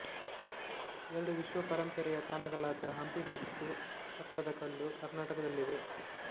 ಎರಡು ವಿಶ್ವ ಪರಂಪರೆಯ ತಾಣಗಳಾದ ಹಂಪಿ ಮತ್ತು ಪಟ್ಟದಕಲ್ಲು ಕರ್ನಾಟಕದಲ್ಲಿವೆ